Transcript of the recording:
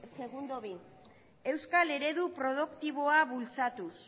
segundo bi euskal eredu produktiboa bultzatuz